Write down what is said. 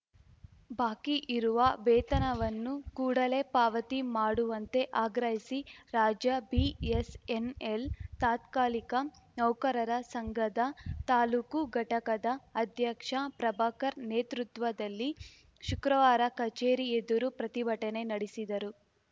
ಬಾಕಿ ಇರುವ ವೇತನವನ್ನು ಕೂಡಲೆ ಪಾವತಿ ಮಾಡುವಂತೆ ಆಗ್ರಹಿಸಿ ರಾಜ್ಯ ಬಿಎಸ್‌ಎನ್‌ಎಲ್‌ ತಾತ್ಕಾಲಿಕ ನೌಕರರ ಸಂಘದ ತಾಲೂಕು ಘಟಕದ ಅಧ್ಯಕ್ಷ ಪ್ರಭಾಕರ್‌ ನೇತೃತ್ವದಲ್ಲಿ ಶುಕ್ರವಾರ ಕಚೇರಿ ಎದುರು ಪ್ರತಿಭಟನೆ ನಡೆಸಿದರು